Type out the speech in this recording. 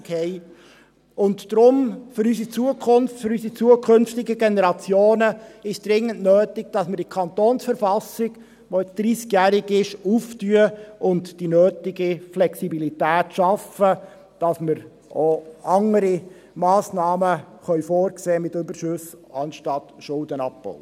Deshalb ist es für unsere Zukunft und für unsere zukünftigen Generationen dringend nötig, dass wir die KV, die jetzt 30 Jahre alt ist, öffnen und die nötige Flexibilität schaffen, damit wir auch andere Massnahmen für den Umgang mit Überschüssen vorsehen können als den Schuldenabbau.